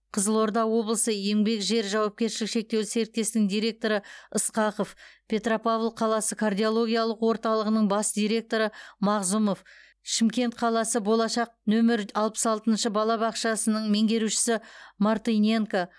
қызылорда облысы еңбек жер жауапкершілігі шектеулі серіктестігінің директоры ысқақов петропавл қаласы кардиологиялық орталығының бас директоры мағзұмов шымкент қаласы болашақ нөмір алпыс алтыншы балабақшасының меңгерушісі мартыненко